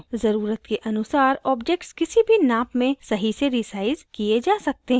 ज़रुरत के अनुसार objects किसी भी नाप में सही से resized किये जा सकते हैं